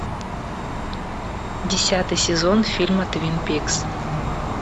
десятый сезон фильма твин пикс